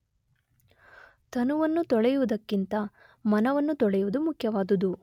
ತನುವನ್ನು ತೊಳೆಯುವುದಕ್ಕಿಂತ ಮನವನ್ನು ತೊಳೆಯುವುದು ಮುಖ್ಯವಾದುದು.